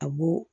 A b'o